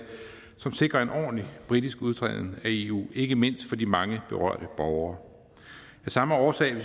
som sikrer en ordentlig britisk udtræden af eu ikke mindst for de mange berørte borgere af samme årsag